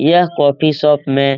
यह coffee shop में--